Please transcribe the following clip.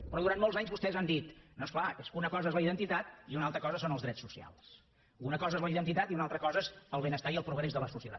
però durant molts anys vostès han dit no és clar és que una cosa és la identitat i una altra cosa són els drets socials una cosa és la identitat i una altra cosa és el benestar i el progrés de la societat